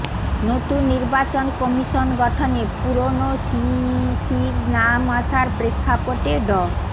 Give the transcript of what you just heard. নতুন নির্বাচন কমিশন গঠনে পুরনো সিইসির নাম আসার প্রেক্ষাপটে ড